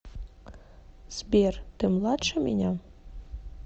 сбер ты младше меня